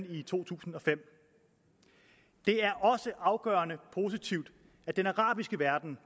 i to tusind og fem det er også afgørende positivt at den arabiske verden